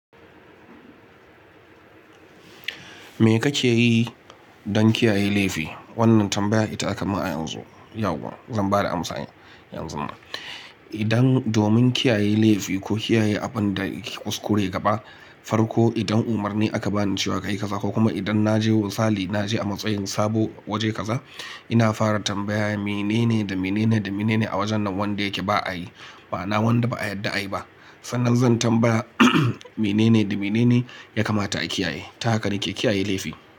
Me kake yi don kiyaye laifi? Wannan tambaya ita aka yi min a yanzu. Yau kuwa zan ba da amsani yanzun nan. Idan domin kiyaye laifi ko kiyaye abin da ke kuskure gaba, farko idan Umarni aka ba ni cewa kayi kaza, ko kuma idan na je misali, na je a matsayin sabo wajen kaza, ina fara tambaya mene ne da mene ne da mene ne a wajen nan wanda yake ba a yi, bana wanda ba a yadda a yi ba. Sannan zan tambaya mene ne da mene ne ya kamata a kiyaye. Ta haka nake kiyaye laifi.